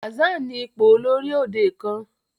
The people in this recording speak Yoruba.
Hassan ní ipò olórí òde kán.